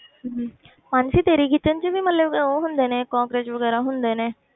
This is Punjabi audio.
ਮਾਨਸੀ ਤੇਰੇ kitchen 'ਚ ਵੀ ਮਤਲਬ ਉਹ ਹੁੰਦੇ ਨੇ ਕੋਕਰੋਚ ਵਗ਼ੈਰਾ ਹੁੰਦੇ ਨੇ?